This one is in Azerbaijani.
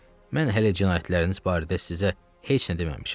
Mən hələ cinayətləriniz barədə sizə heç nə deməmişəm.